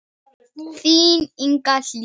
Þín Inga Hlíf.